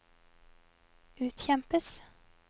utkjempes